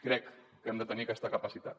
crec que hem de tenir aquesta capacitat